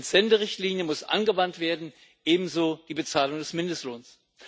Die Entsenderichtlinie muss angewandt werden, ebenso die Bezahlung des Mindestlohns.